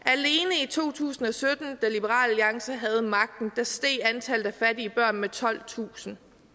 i to tusind og sytten da liberal alliance havde magten steg antallet af fattige børn med tolvtusind